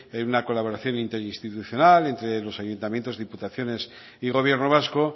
en un colaboración interinstitucional entre los ayuntamientos diputaciones y gobierno vasco